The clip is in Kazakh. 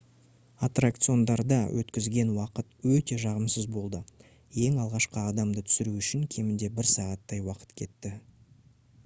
аттракциондарда өткізген уақыт өте жағымсыз болды ең алғашқы адамды түсіру үшін кемінде бір сағаттай уақыт кетті